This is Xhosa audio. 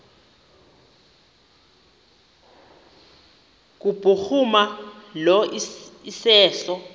kubhuruma lo iseso